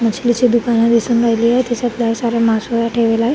मछलीचे दुकान दिसून राहिली आहे त्यामध्ये लय साऱ्या मासोळया ठेवल्या आहे.